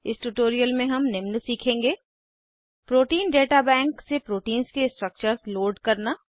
इस ट्यूटोरियल में हम निम्न सीखेंगे प्रोटीन डेटा बैंक से प्रोटीन्स के स्ट्रक्चर्स लोड करना